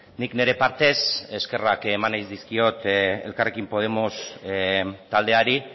nik nire partez eskerrak eman nahi dizkiot elkarrekin podemos taldeari